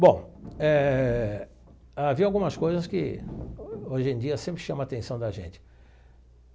Bom, eh havia algumas coisas que, hoje em dia, sempre chamam a atenção da gente.